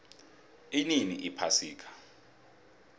inini iphasika